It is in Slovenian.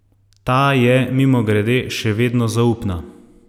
Ta je, mimogrede, še vedno zaupna.